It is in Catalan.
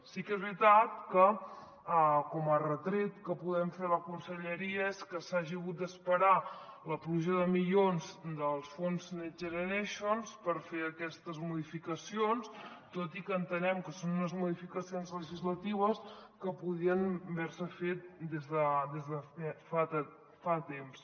sí que és veritat que com a retret que podem fer a la conselleria és que s’hagi hagut d’esperar la pluja de milions dels fons next generation per fer aquestes modificacions tot i que entenem que són unes modificacions legislatives que podrien haver se fet des de fa temps